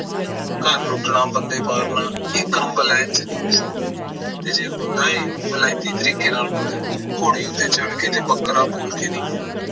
ਘਰ ਲੁੱਟਣਾ ਬੰਦੇ ਮਾਰਨਾ ਇਹ ਕੰਮ ਬਲੈਤ ਵਿੱਚ ਨਹੀਂ ਹੋ ਸਕਦਾ ਤੇ ਜੇ ਹੁੰਦਾ ਐ ਤਾਂ ਬਿਲਾਈਤੀ ਤਰੀਕੇ ਨਾਲ ਹੁੰਦਾ ਐ। ਘੋੜੀ ਉੱਤੇ ਚੜ ਕੇ ਬੱਕਰਾ ਬੋਲ ਕੇ ਨਹੀਂ ਹੁੰਦਾ